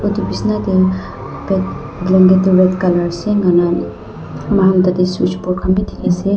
etu bisna te bed blanket tu red colour ase gana moi khan tar te switch box khan bhi dekhi ase.